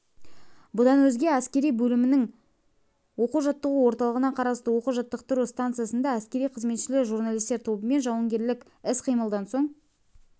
бұдан өзге әскери бөлімінің оқу-жаттығу орталығына қарасты оқу-жаттықтыру станциясында әскери қызметшілер журналистер тобымен жауынгерлік іс-қимылдан соң